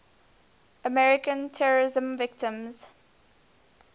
american terrorism victims